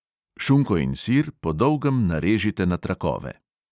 Šunko in sir po dolgem narežite na trakove.